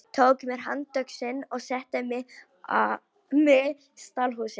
Tók mér handöxi og setti á mig stálhúfu.